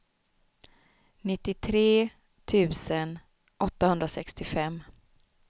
nittiotre tusen åttahundrasextiofem